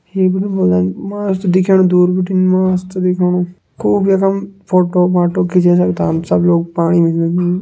मस्त दिखेणु दूर बिटिन मस्त दिखेणु। खूब यकम फोटो फाटो खींचे सकदान हम सब लोग पाणि मा जैकी।